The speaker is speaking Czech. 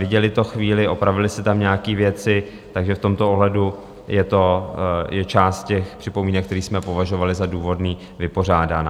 Viděli to chvíli, opravili si tam nějaké věci, takže v tomto ohledu je část těch připomínek, které jsme považovali za důvodné, vypořádána.